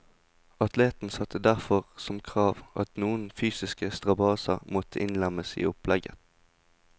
Atleten satte derfor som krav, at noen fysiske strabaser måtte innlemmes i opplegget.